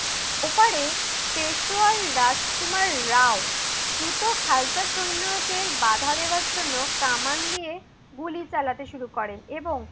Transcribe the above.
ওপারে পেশুয়ার রাজ কুমার রাউ দ্রুত খালতা সৈন্যদের বাদা দেয়ার জন্য কামান নিয়ে গুলি চালাতে শুরু করেন। এবং